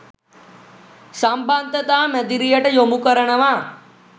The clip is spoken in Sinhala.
සම්බන්ධතා මැදිරියට යොමු කරනවා